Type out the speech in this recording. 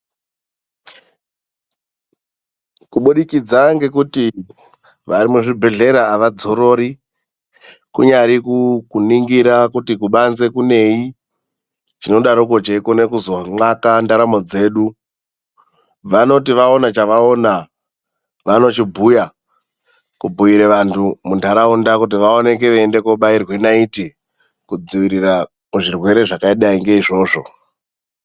Kubudikidza kwekuti vari muzvibhedhlera avadzorori kunyari kuningira kuti kubanze kunei chinodaroko chichizo nywaka ndaramo dzedu vanoti vaona chavaona vanochibhuya kubhuyira vantu vemundaraunda kuti vaoneke veindobaiwe naiti mukudzivirire zvirwere zvakadai ngeizvozvo.